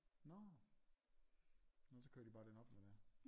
Nårh nå så kører de bare den op når det er